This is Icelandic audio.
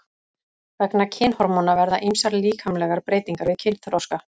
Vegna kynhormóna verða ýmsar líkamlegar breytingar við kynþroska.